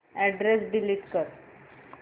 address delete कर